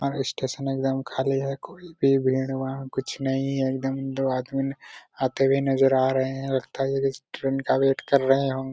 और स्टेशन एक दम खाली है कोई भी भीड़ भाड़ कुछ नहीं हैएक दम दो आदमी आते हुए नजर आ रहे है लगता है ये लोग ट्रेन का वैट कर रहे हो|